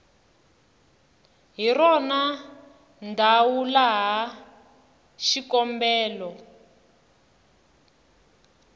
hi rona ndzhawu laha xikombelo